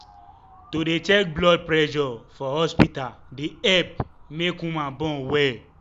to dey check blood pressure for hospita dey epp make woman born welll